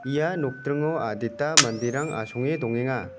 ia nokdringo adita manderang asonge dongenga.